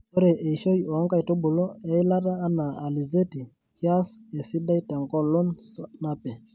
Ore eishoi oo nkaitubulu eilata ana alizeti kias esidai tenkolong napi.